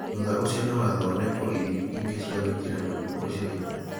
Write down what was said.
Thutha ũcio no athondekwo ithimi ingĩ cia gwĩkĩra mũrimũ ũcio hinya.